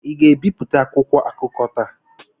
ị ga-ebipụta akwụkwọ akụkọ taa?